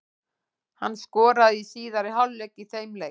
Hann skoraði í síðari hálfleik í þeim leik.